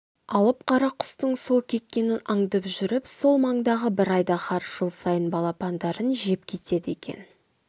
алып қара құстың сол кеткенін аңдып жүріп сол маңдағы бір айдаһар жыл сайын балапандарын жеп кетеді екен